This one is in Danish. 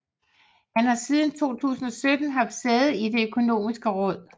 Han har siden 2017 haft sæde i Det Økonomiske Råd